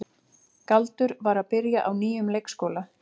Galdur var að byrja á nýjum leikskóla.